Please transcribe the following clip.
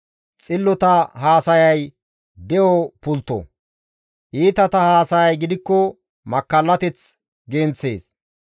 Xillota haasayay de7o pultto; iitata haasayay gidikko makkallateth genththees.